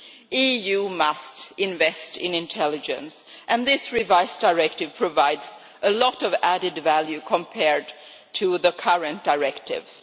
The EU must invest in intelligence, and this revised directive provides a lot of added value compared to the current directives.